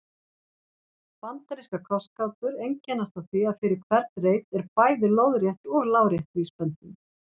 Bandarískar krossgátur einkennast af því að fyrir hvern reit er bæði lóðrétt og lárétt vísbending.